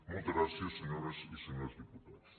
moltes gràcies senyores i senyors diputats